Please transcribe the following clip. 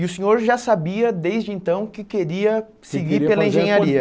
E o senhor já sabia, desde então, que queria seguir pela engenharia.